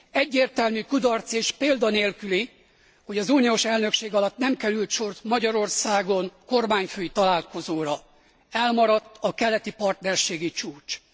Egyértelmű kudarc, és példa nélküli, hogy az uniós elnökség alatt nem került sor Magyarországon kormányfői találkozóra, elmaradt a keleti partnerségi csúcs.